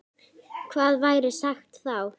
Hvað væri sagt þá?